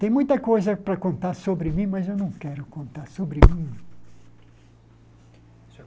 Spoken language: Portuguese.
Tem muita coisa para contar sobre mim, mas eu não quero contar sobre mim.